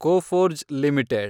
Coforge limited